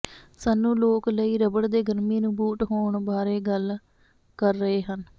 ਸਾਨੂੰ ਲੋਕ ਲਈ ਰਬੜ ਦੇ ਗਰਮੀ ਨੂੰ ਬੂਟ ਹੋਣ ਬਾਰੇ ਗੱਲ ਕਰ ਰਹੇ ਹਨ